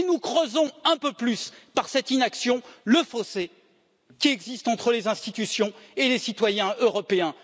Et nous creusons un peu plus, par cette inaction, le fossé qui existe entre les institutions et les citoyens européens.